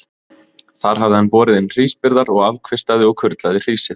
Þar hafði hann borið inn hrísbyrðar og afkvistaði og kurlaði hrísið.